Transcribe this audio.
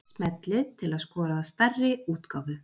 Smellið til að skoða stærri útgáfu.